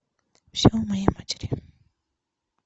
все о моей матери